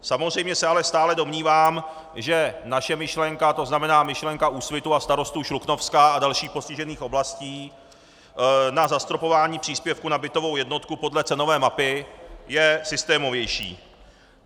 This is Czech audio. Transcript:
Samozřejmě se ale stále domnívám, že naše myšlenka, to znamená, myšlenka Úsvitu a starostů Šluknovska a dalších postižených oblastí na zastropování příspěvku na bytovou jednotku podle cenové mapy, je systémovější.